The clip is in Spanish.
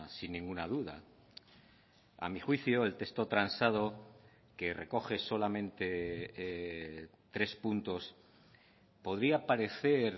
sin ninguna duda a mi juicio el texto transado que recoge solamente tres puntos podría parecer